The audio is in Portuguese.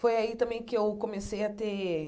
Foi aí também que eu comecei a ter